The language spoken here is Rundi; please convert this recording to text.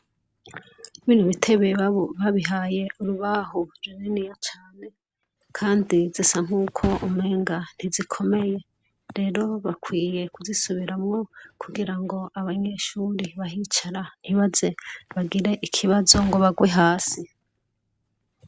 Ibi bitebe babihaye urubaho runiniya cane, kandi zisankuko umenga ntizikomeye rero, bakwiye kuzisubiramwo kugirango abanyeshure bahicara ntibaze bagire ikibazo ngo bagwe hasi .